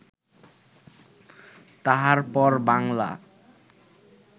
তাহার পর বাঙলা